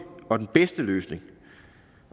og den bedste løsning